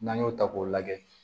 N'an y'o ta k'o lajɛ